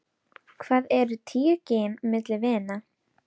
Hvað eru tíu gin milli vina.